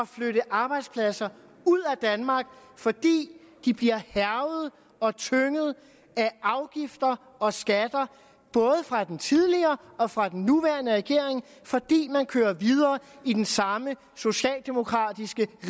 flytte arbejdspladser ud af danmark fordi de bliver hærget og tynget af afgifter og skatter både fra den tidligere og fra den nuværende regering fordi man kører videre i den samme socialdemokratiske